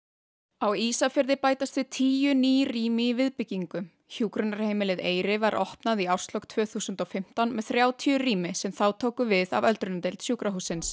á Ísafirði bætast við tíu ný rými í viðbyggingu hjúkrunarheimilið Eyri var opnað í árslok tvö þúsund og fimmtán með þrjátíu rými sem þá tóku við af öldrunardeild sjúkrahússins